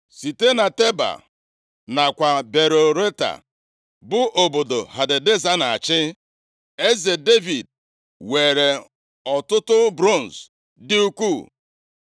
Site na Teba + 8:8 Ma ọ bụkwanụ, Beta nakwa Beirotai, bụ obodo Hadadeza na-achị. Eze Devid weere ọtụtụ bronz dị ukwuu.